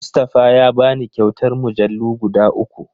Mustafa ya bani kyautar mujallu guda uku.